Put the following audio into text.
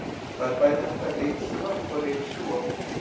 Það er bæði hægt að ryksuga og ryksjúga.